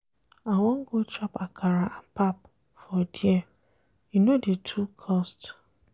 I wan go chop akara and pap for there, e no dey too cost.